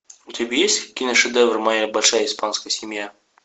у тебя есть киношедевр моя большая испанская семья